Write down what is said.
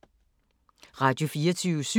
Radio24syv